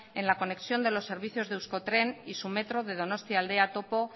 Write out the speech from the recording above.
en la conexión de los servicios de euskotren y su metro de donostialdea topo